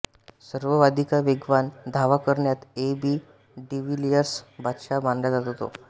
सर्ववाधिका वेगवान धावा करन्यात एबी डिविलियर्स बादशाह मानला जातो तो